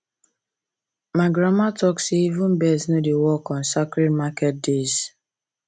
my grandma talk say even birds no dey work on sacred market days